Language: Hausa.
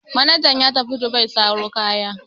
Manajan ya tafi Dubai saro kaya.